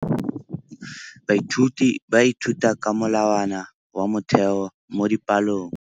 Baithuti ba ithuta ka molawana wa motheo mo dipalong.